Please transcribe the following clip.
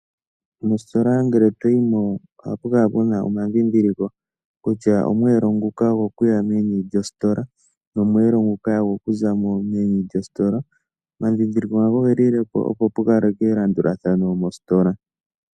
Mositola ngele toyimo ohapukala puna omandhidhiliko kutya omweelo nguka ogokuya meni lyositola nomweelo nguka ogokuzamo mositola ,omadhindhiliko ngaka ogelilepo opo pukale elandulathano mositola.